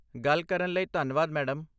ਗੱਲ ਕਰਨ ਲਈ ਧੰਨਵਾਦ, ਮੈਡਮ।